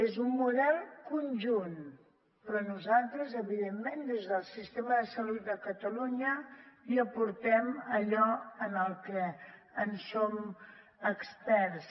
és un model conjunt però nosaltres evidentment des del sistema de salut de catalunya hi aportem allò en què en som experts